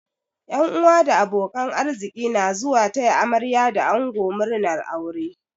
Yan uwa da abokan arziki na zuwa taya amarya da ango murnar aure.